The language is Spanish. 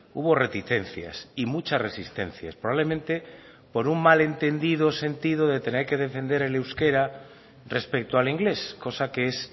hubo reticencias y muchas resistencias probablemente por un mal entendido sentido de tener que defender el euskera respecto al inglés cosa que es